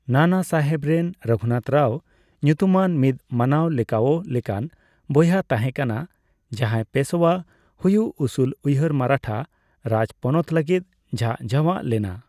ᱱᱟᱱᱟᱥᱟᱦᱮᱵ ᱨᱮᱱ ᱨᱚᱜᱷᱩᱱᱟᱛᱷ ᱨᱟᱣ ᱧᱩᱛᱩᱢᱟᱱ ᱢᱤᱫ ᱢᱟᱱᱟᱣ ᱞᱮᱠᱟᱣᱜ ᱞᱮᱠᱟᱱ ᱵᱚᱭᱦᱟᱭ ᱛᱟᱦᱮᱸᱠᱟᱱᱟ, ᱡᱟᱦᱟᱭ ᱯᱮᱥᱳᱭᱟ ᱦᱩᱭᱩᱜ ᱩᱥᱩᱞ ᱩᱭᱦᱟᱹᱨ ᱢᱟᱨᱟᱴᱷᱟ ᱨᱟᱡᱯᱚᱱᱚᱛ ᱞᱟᱹᱜᱤᱫ ᱡᱷᱟᱝ ᱡᱷᱟᱣᱟᱜ ᱞᱮᱱᱟ᱾